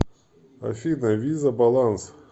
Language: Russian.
афина виза баланс